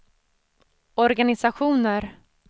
organisationer